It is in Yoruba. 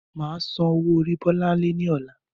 Máa sán owó orí bọlánlẹ́ ni ọ̀la